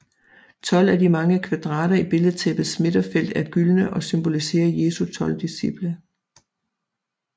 Tolv af de mange kvadrater i billedtæppets midterfelt er gyldne og symboliserer Jesu tolv disciple